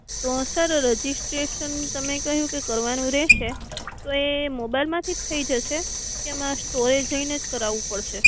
તો sir registration કઈ રીતે કરવાનું રહશે? તો એ મોબાઈલ માંથીજ થી જશે કે મારે સ્ટોરે જઈનેજ કરાવું પડશે.